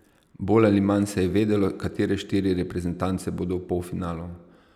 Bolj ali manj se je vedelo, katere štiri reprezentance bodo v polfinalu.